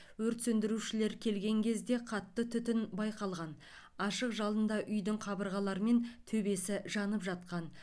өрт сөндірушілер келген кезде қатты түтін байқалған ашық жалында үйдің қабырғалары мен төбесі жанып жатқан